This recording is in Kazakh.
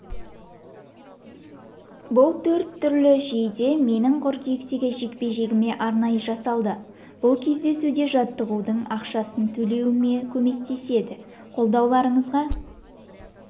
бұл төрт түрлі жейде менің қыркүйектегі жекпе-жегіме арнайы жасалды бұл кездесуде жаттығудың ақшасын төлеуіме көмектеседі қолдауларыңызға